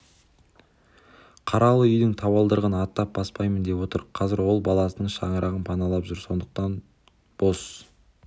қаралы үйдің табалдырығын аттап баспаймын деп отыр қазір ол баласының шаңырағын паналап жүр сондықтан бос